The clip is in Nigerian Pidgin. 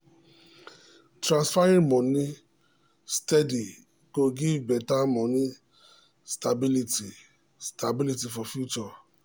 transferring moni steady go give better money stability stability for future.